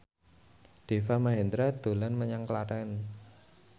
Deva Mahendra dolan menyang Klaten